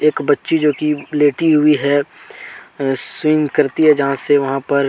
एक बच्ची जो कि लेटी हुई है स्विम करती है जहा से वहां पर--